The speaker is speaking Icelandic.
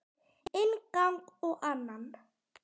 Inn gang og annan.